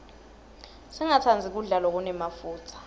singatsandzi kudla lokunemafutsa